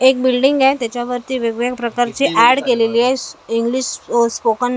एक बिल्डींग आहे त्याच्यावरती वेगवेगळ्या प्रकारची एड केलेली आहे स इंग्लिश स्पोकन --